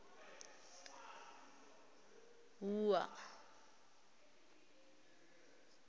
wua